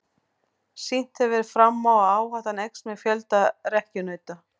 Sýnt hefur verið fram á að áhættan eykst með fjölda rekkjunauta.